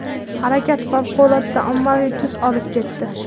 Harakat favqulodda ommaviy tus olib ketdi.